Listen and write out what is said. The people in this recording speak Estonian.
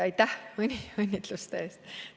Aitäh õnnitluste eest!